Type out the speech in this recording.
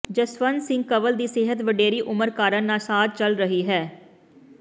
ਜਸਵੰਤ ਸਿੰਘ ਕੰਵਲ ਦੀ ਸਿਹਤ ਵਡੇਰੀ ਉਮਰ ਕਾਰਨ ਨਾਸਾਜ਼ ਚੱਲ ਰਹੀ ਹੈ